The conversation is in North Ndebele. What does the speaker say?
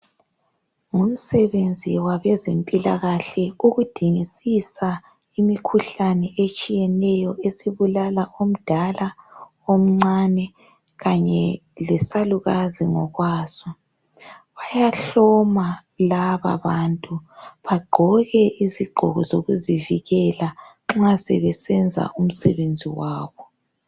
Ngumsebenzi wabezempilakahle ukudingisisa imikhuhlane etshiyeneyo esibulala omdala, omncane kanye lesalukazi ngokwaso. Bayahloma laba bantu bagqoke izigqoko zokuzivikela nxa sebesenza umsebenzi wabo.